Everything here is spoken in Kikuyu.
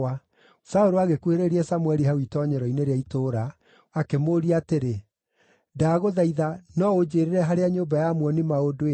Saũlũ agĩkuhĩrĩria Samũeli hau itoonyero-inĩ rĩa itũũra, akĩmũũria atĩrĩ, “Ndagũthaitha no ũnjĩĩrĩre harĩa nyũmba ya muoni-maũndũ ĩrĩ?”